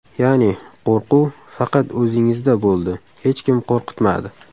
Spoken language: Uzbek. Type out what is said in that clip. Ya’ni qo‘rquv faqat o‘zingizda bo‘ldi, hech kim qo‘rqitmadi?